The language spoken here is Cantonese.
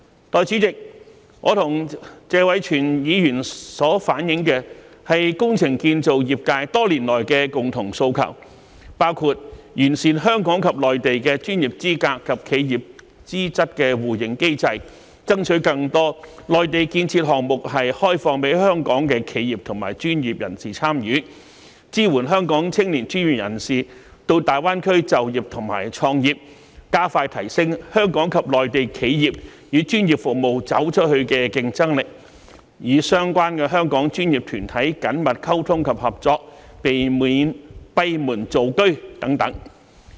代理主席，我和謝偉銓議員所反映的是工程建造業界多年來的共同訴求，包括完善香港及內地的專業資格及企業資質互認機制，爭取更多內地建設項目開放予香港企業和專業人士參與，支援香港青年專業人士到大灣區就業和創業，加快提升香港及內地企業與專業服務業"走出去"的競爭力，與相關的香港專業團體緊密溝通及合作，避免閉門造車等。